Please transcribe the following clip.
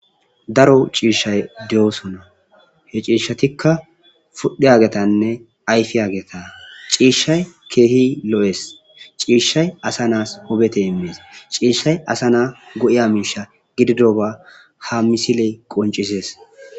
Daro ciishay de'oosona. He ciishatika pudhigagetanne ayfiyageta. Ciishatika keehippe lo'ees. Ciishay asa naas wubete immes. Ciishay asa na go'iza miisba gididaysa misiley qoncisees.